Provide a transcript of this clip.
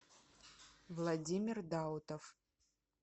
владимир даутов